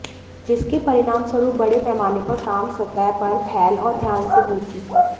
जिसके परिणामस्वरूप बड़े पैमाने पर काम सतह पर फैल और ध्यान से गूंथी